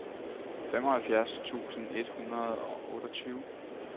femoghalvfjerds tusind et hundrede og otteogtyve